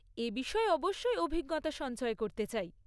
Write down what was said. এ বিষয়ে অবশ্যই অভিজ্ঞতা সঞ্চয় করতে চাই।